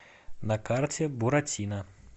на карте буратино